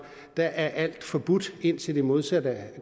er alt forbudt indtil det modsatte er